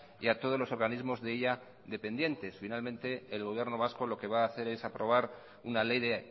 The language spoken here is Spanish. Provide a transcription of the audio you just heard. y a todos los organismos de ella dependientes finalmente el gobierno vasco lo que va a hacer es aprobar una ley de